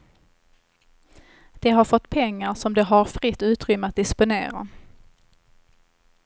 De har fått pengar som de har fritt utrymme att disponera.